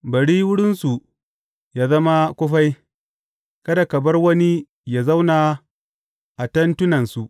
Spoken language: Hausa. Bari wurinsu yă zama kufai; kada ka bar wani yă zauna a tentunansu.